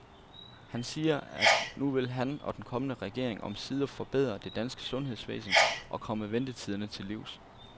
Han siger, at nu vil han og den kommende regering omsider forbedre det danske sundhedsvæsen og komme ventetiderne til livs.